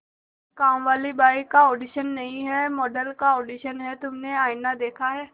कामवाली बाई का ऑडिशन नहीं है मॉडल का ऑडिशन है तुमने आईना देखा है